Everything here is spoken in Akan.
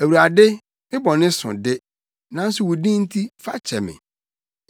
Awurade, me bɔne so de, nanso wo din nti, fa kyɛ me.